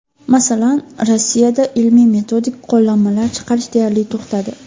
Masalan, Rossiyada ilmiy-metodik qo‘llanmalar chiqarish deyarli to‘xtadi.